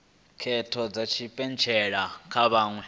khetho dza tshipentshela kha vhaṅwe